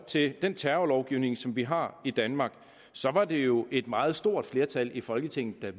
til den terrorlovgivning som vi har i danmark er det jo et meget stort flertal i folketinget der